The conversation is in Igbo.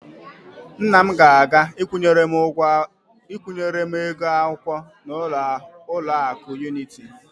Nna m ga-aga ịkwụnyere m ego akwụkwọ n'ụlọakụ Yuniti.